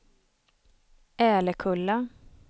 Älekulla